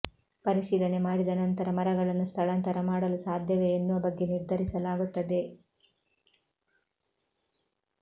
ಪರಿಶೀಲನೆ ಮಾಡಿದ ನಂತರ ಮರಗಳನ್ನು ಸ್ಥಳಾಂತರ ಮಾಡಲು ಸಾಧ್ಯವೇ ಎನ್ನುವ ಬಗ್ಗೆ ನಿರ್ಧರಿಸಲಾಗುತ್ತದೆ